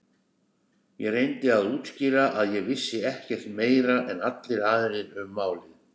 Ég reyndi að útskýra að ég vissi ekkert meira en allir aðrir um málið.